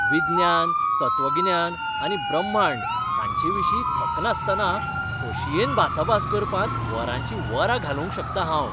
विज्ञान, तत्वगिन्यान आनी ब्रह्मांड हांचेविशीं थकनासतना खोशयेन भासाभास करपांत वरांचीं वरां घालोवंक शकतां हांव.